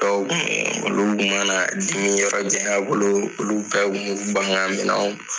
Dɔw olu kun mana dimi yɔrɔ janya bolo olu bɛ kun b'o ban ka minɛ